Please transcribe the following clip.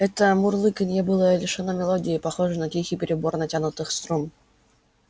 это мурлыканье было лишено мелодии похоже на тихий перебор натянутых струн